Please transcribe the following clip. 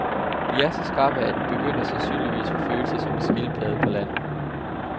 De er så skrappe, at en begynder sandsynligvis vil føle sig som en skildpadde på land.